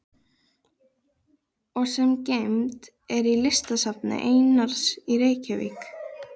og sem geymd er í Listasafni Einars í Reykjavík.